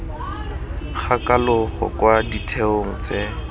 ga kalogo kwa ditheong tse